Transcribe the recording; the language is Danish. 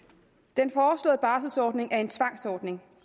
den foreslåede barselsordning er en tvangsordning